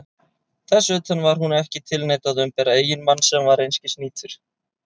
Þess utan: var hún ekki tilneydd að umbera eiginmann sem var einskis nýtur?